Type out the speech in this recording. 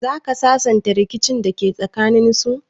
Zaka sasanta rikicin dake tsakaninsu?